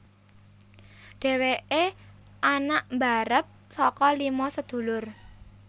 Dhèwèké anak mbarep saka lima sedulur